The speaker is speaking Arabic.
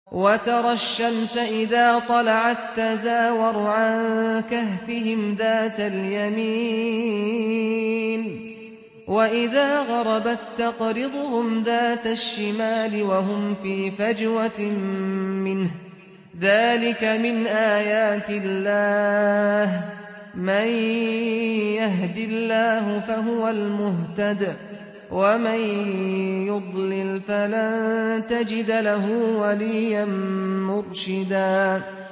۞ وَتَرَى الشَّمْسَ إِذَا طَلَعَت تَّزَاوَرُ عَن كَهْفِهِمْ ذَاتَ الْيَمِينِ وَإِذَا غَرَبَت تَّقْرِضُهُمْ ذَاتَ الشِّمَالِ وَهُمْ فِي فَجْوَةٍ مِّنْهُ ۚ ذَٰلِكَ مِنْ آيَاتِ اللَّهِ ۗ مَن يَهْدِ اللَّهُ فَهُوَ الْمُهْتَدِ ۖ وَمَن يُضْلِلْ فَلَن تَجِدَ لَهُ وَلِيًّا مُّرْشِدًا